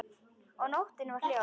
Og nóttin var hljóð.